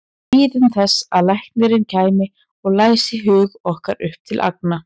Biðum þess að læknirinn kæmi og læsi hug okkar upp til agna.